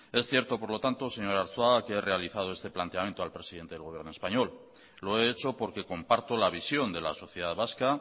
es cierto por lo tanto señor arzuaga que he realizado este planteamiento al presidente del gobierno español lo he hecho porque comparto la visión de la sociedad vasca